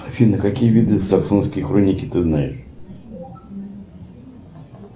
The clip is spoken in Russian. афина какие виды саксонской хроники ты знаешь